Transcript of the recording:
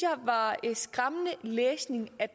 jeg var skræmmende læsning